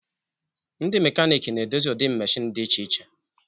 Ndị mekaniiki na-edozi ụdị meshịn dị iche iche